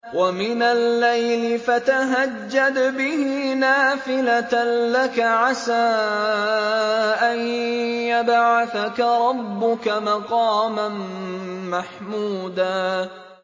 وَمِنَ اللَّيْلِ فَتَهَجَّدْ بِهِ نَافِلَةً لَّكَ عَسَىٰ أَن يَبْعَثَكَ رَبُّكَ مَقَامًا مَّحْمُودًا